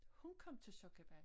Hun kom til sokkabal